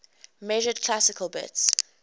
measured classical bits